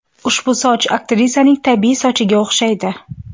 Ushbu soch aktrisaning tabiiy sochiga o‘xshaydi.